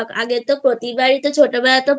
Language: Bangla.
আগে তো প্রতিবারেই ছোটবেলায় প্রতিবার